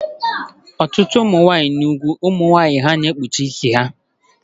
Ọtụtụ ebe n'ugwu ụmụ nwanyị na-ekpuchi isi ha